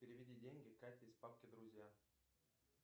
переведи деньги кате из папки друзья